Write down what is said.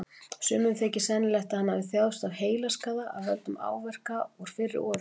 Sumum þykir sennilegt að hann hafi þjáðst af heilaskaða af völdum áverka úr fyrri orrustum.